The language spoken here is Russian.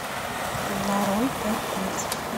нарой пять пальцев